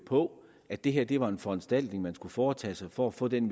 på at det her var en foranstaltning der skulle foretages for at få en